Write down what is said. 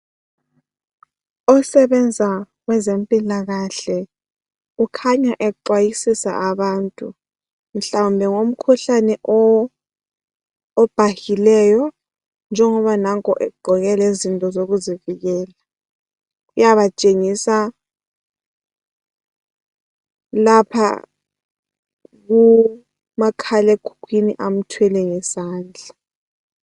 osebenzayo kwezempilakahle ukhanya exwayisisa abantu mhlawumbe ngomkhuhlane obhahileyo njengoba nanku egqoke lezinto zokuzivikela uyabatshengisa lapha kumakhala ekhukhwini amthwele ngesandla